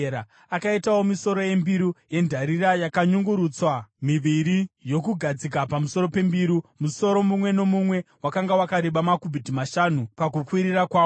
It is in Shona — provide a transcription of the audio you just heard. Akaitawo misoro yembiru yendarira yakanyungurutswa miviri, yokugadzika pamusoro pembiru, musoro mumwe nomumwe wakanga wakareba makubhiti mashanu pakukwirira kwawo.